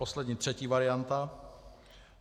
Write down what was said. Poslední, třetí varianta.